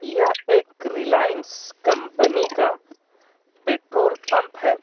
यह एक रिलायंस कंपनी का पेट्रोल पंप है.